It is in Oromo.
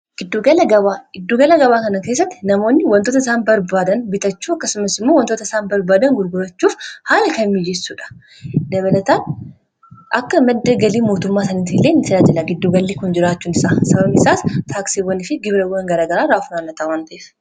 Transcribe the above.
giddugala gabaa kana keessatti namoonni wantoota isaan barbaadan bitachuu akkasumas immoo wantoota isaan barbaadan gulgurachuuf haala kammiijessuudha dabalataan akka maddagalii mootummaa saniiti hileen sirajila giddugallii kun jiraachuun a sabamisaas taaksibwan fi gibraan garagaraa raafunaamaxaa wanta'esa